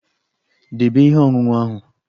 Debe ihe ọṅụṅụ ahụ!